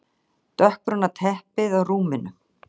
Dökkbrúna teppið á rúminu.